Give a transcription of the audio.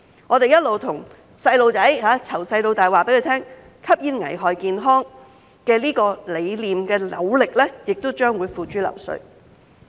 我們一直對兒童，從小到大告訴他們，吸煙危害健康這個理念，這些努力亦將會付諸流水。